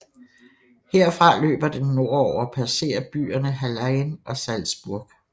Herfra løber den nordover og passerer byerne Hallein og Salzburg